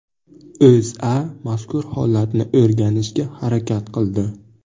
O‘zA mazkur holatni o‘rganishga harakat qildi .